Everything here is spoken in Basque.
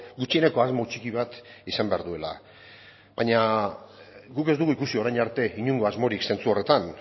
gutxieneko asmo txiki bat izan behar duela baina guk ez dugu ikusi orain arte inongo asmorik zentzu horretan